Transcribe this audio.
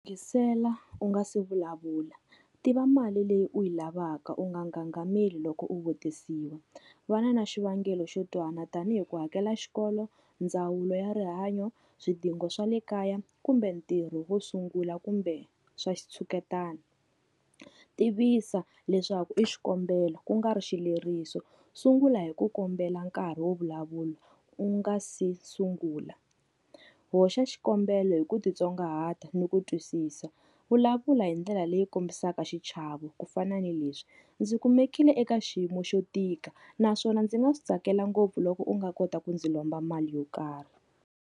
Yingisela u nga se vulavula tiva mali leyi u yi lavaka u nga ngangameli loko u vutisiwa. Va na na xivangelo xo twala tanihi ku hakela xikolo, ndzawulo ya rihanyo, swidingo swa le kaya kumbe ntirho wo sungula kumbe swa xitshuketana. Tivisa leswaku i xikombelo ku nga ri xileriso, sungula hi ku kombela nkarhi wo vulavula u nga se sungula. Hoxa xikombelo hi ku titsongahata ni ku twisisa, vulavula hi ndlela leyi kombisaka xichavo ku fana ni leswi, ndzi kumekile eka xiyimo xo tika naswona ndzi nga swi tsakela ngopfu loko u nga kota ku ndzi lomba mali yo karhi.